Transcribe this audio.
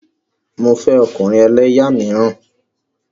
Mo fẹ́ ọkùnrin ẹlẹ́yà míràn.